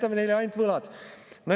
Me jätame neile ainult võlad.